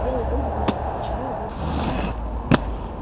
белый клык знал почему его бьют